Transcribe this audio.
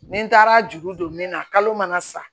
Ni n taara juru don min na kalo mana sa